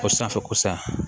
O sanfɛko san